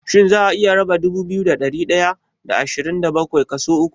Shin za'a iya raba dubu biyu da ɗari ɗaya da ashirin da bakwai kaso uku?